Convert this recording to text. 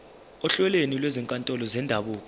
ohlelweni lwezinkantolo zendabuko